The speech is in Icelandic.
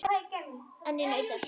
En ég naut þess.